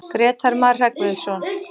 Grétar Mar Hreggviðsson.